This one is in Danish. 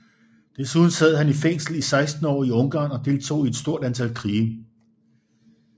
Desuden sad han i fængsel i 16 år i Ungarn og deltog i et stort antal krige